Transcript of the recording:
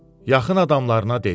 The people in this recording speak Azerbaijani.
Yaxın adamlarına dedi: